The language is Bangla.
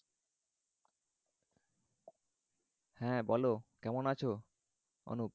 হ্যাঁ বলো কেমন আছ? অনুপ